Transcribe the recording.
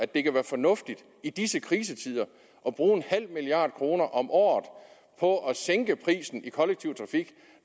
det kan være fornuftigt i disse krisetider at bruge en halv milliard kroner om året på at sænke prisen for den kollektive trafik